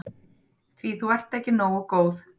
Því þú ert ekki nógu góð.